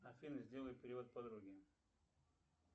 афина сделай перевод подруге